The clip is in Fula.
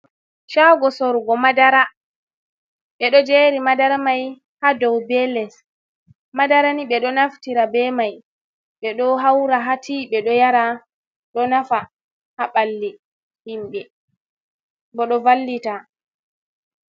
Shago sorugo madara, ɓe ɗo jeri madar mai ha dou be les, madara ni ɓe ɗo naftira be mai ɓe ɗo haura ha tea ɓe ɗo yara, ɗo nafa ha ɓalli himɓe bo ɗo vallita.